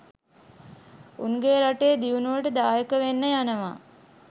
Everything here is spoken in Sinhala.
උන්ගේ රටේ දියුණුවට දායක වෙන්න යනව